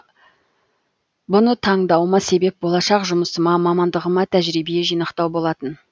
бұны таңдауыма себеп болашақ жұмысыма мамандығыма тәжірибе жинақтау болатын